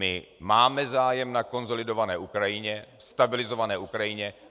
My máme zájem na konsolidované Ukrajině, stabilizované Ukrajině.